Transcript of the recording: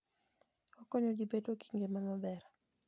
Okonyo ji bedo gi ngima maber.